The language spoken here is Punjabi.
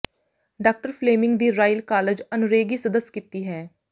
ਡਾਕਟਰ ਫਲੇਮਿੰਗ ਦੀ ਰਾਇਲ ਕਾਲਜ ਆਨਰੇਰੀ ਸਦੱਸ ਕੀਤੀ ਹੈ